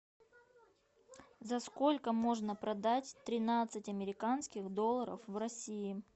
за сколько можно продать тринадцать американских долларов в россии